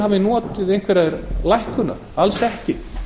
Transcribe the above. hafi notið einhverrar lækkunar alls ekki